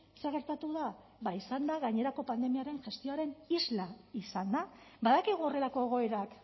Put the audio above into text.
zer gertatu da ba izan da gainerako pandemiaren gestioaren isla izan da badakigu horrelako egoerak